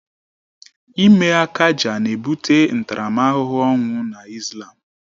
Ịme akaja na ebute ntaramahụhụ ọnwụ na Islam